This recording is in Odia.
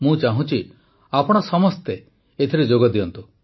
ମୁଁ ଚାହୁଁଛି ଆପଣ ସମସ୍ତେ ଏଥିରେ ଯୋଗ ଦିଅନ୍ତୁ